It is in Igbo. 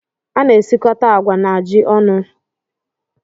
A na-esikọta agwa na ji ọnụ.